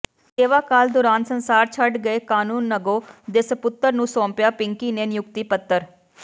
ਸੇਵਾਕਾਲ ਦੌਰਾਨ ਸੰਸਾਰ ਛੱਡ ਗਏ ਕਾਨੂੰਨਗੋ ਦੇ ਸਪੁੱਤਰ ਨੂੰ ਸੌਂਪਿਆਂ ਪਿੰਕੀ ਨੇ ਨਿਯੁਕਤੀ ਪੱਤਰ